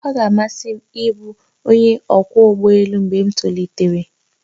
Ọ ga-amasị m ịbụ onye ọkwọ ụgbọ elu mgbe m tolitere